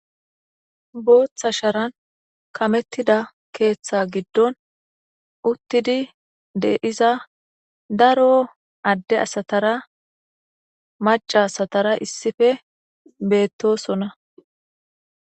Booththa sharan kameththida keeththaa giddon uththidi de7iza daroo adde asathara macca asathara issipe beeththoosona.